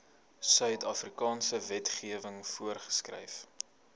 suidafrikaanse wetgewing voorgeskryf